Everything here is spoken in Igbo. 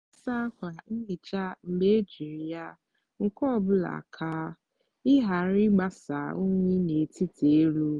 na-asa ákwà nhicha mgbe ejiri ya nke ọ bụla ka ị ghara ịgbasa unyi n'etiti elu.